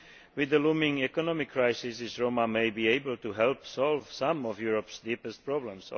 With the looming economic crisis, the Roma may be able to help solve some of Europe's deepest problems.